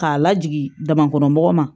K'a lajigin damakɔnɔmɔgɔ ma